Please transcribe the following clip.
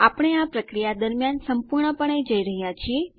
આપણે આ પ્રક્રિયા દરમ્યાન સંપૂર્ણપણે જઈ રહ્યાં છીએ